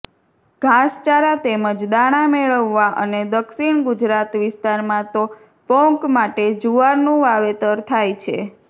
ઘાસચારા તેમજ દાણા મેળવવા અને દક્ષિણ ગુજરાત વિસ્તારમાં તો પોંક માટે જુવારનું વાવેતર થાય છે